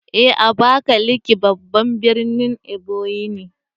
Eh Abakaliki babban birnin Ebonyi ne